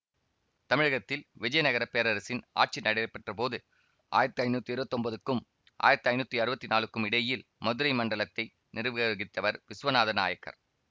தமிழகத்தில் விஜயநகரப் பேரரசின் ஆட்சி நடைபெற்றபோது ஆயிரத்தி ஐநூத்தி இருவத்தொன்பதுக்கும் ஆயிரத்தி ஐநூத்தி அறுவத்தி நாலுக்கும் இடையில் மதுரை மண்டலத்தை நிர்வகித்தவர் விசுவநாத நாயக்கர்